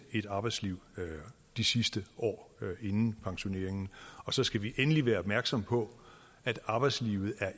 et arbejdsliv de sidste år inden pensioneringen så skal vi endelig være opmærksomme på at arbejdslivet